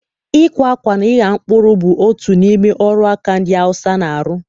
Ịkwa akwa na ịgha mkpụrụ bụ otu n'ime ọrụ aka ndị Hausa na-arụ.